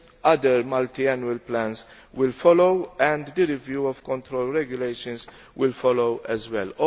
Other multiannual plans will follow and the review of control regulations will follow as well.